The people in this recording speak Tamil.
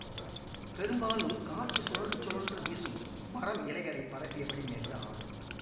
பெரும்பாலும் காற்று சுழன்று சுழன்று வீசும் மரம் இலைகளை பரப்பியபடி மெல்ல ஆடும்